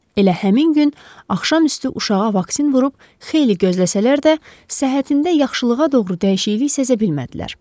Elə həmin gün axşam üstü uşağa vaksin vurub xeyli gözləsələr də, səhərində yaxşılığa doğru dəyişiklik sezə bilmədilər.